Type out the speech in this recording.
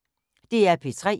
DR P3